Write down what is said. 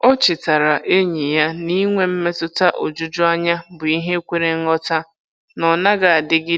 O chetaara enyi ya na inwe mmetụta ojuju anya bụ ihe kwere nghọta na ọ naghị adịgide.